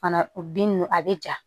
Fana o binnu a bɛ ja